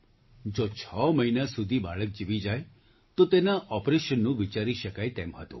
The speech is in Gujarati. જો છ મહિના સુધી બાળક જીવી જાય તો તેના ઑપરેશનનું વિચારી શકાય તેમ હતું